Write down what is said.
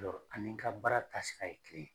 ani n ka baara taasira ye kelen